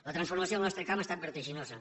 la transformació del nostre camp ha estat vertiginosa